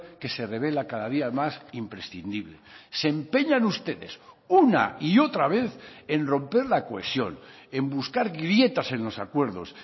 que se revela cada día más imprescindible se empeñan ustedes una y otra vez en romper la cohesión en buscar grietas en los acuerdos